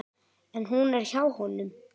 En hún er hjá honum.